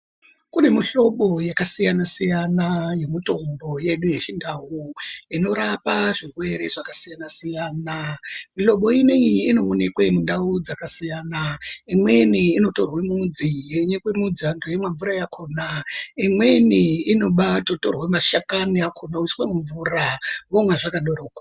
Kune mihlobo yakasiyana-siyana yemitombo yedu yechindau inorapa zvirwere zvakasiyana-siyana. Mihlobo ino iyi inoonekwe mundau dzakasiyana. Imweni inotorwe mudzi, yonyikwa midzi, vantu veimwe mvura yakhona. Imweni inobatotorwe mashakani akhona oiswa mumvura womwa zvakadaroko.